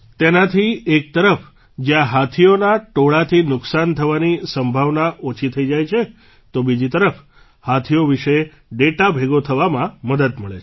તેનાથી એક તરફ જ્યાં હાથીઓનાં ટોળાંથી નુકસાન થવાની સંભાવના ઓછી થઈ જાય છે તો બીજી તરફ હાથીઓ વિશે ડેટા ભેગા થવામાં મદદ મળે છે